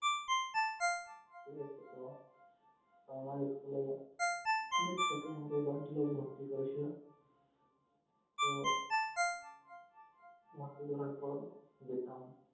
এতো আমাক school এ অনেক ছোটোয় বান্টি বাবু আমাকে ভর্তি করেছিল তো ভর্তি করার পর যেতাম